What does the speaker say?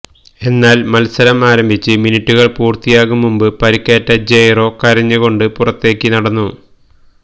എന്നാല് മത്സരം ആരംഭിച്ച് മിനുട്ടുകള് പൂര്ത്തിയാകും മുമ്പ് പരിക്കേറ്റ് ജെയ്റോ കരഞ്ഞ് കൊണ്ട് പുറത്തേക്ക് നടന്നു